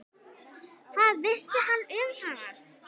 Hvað vissi hann um hana?